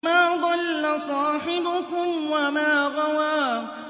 مَا ضَلَّ صَاحِبُكُمْ وَمَا غَوَىٰ